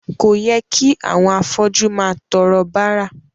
Kò yẹ kí àwọn afọ́jú máa tọrọ bárà.